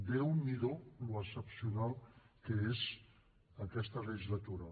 déu n’hi do l’excepcional que és aquesta legislatura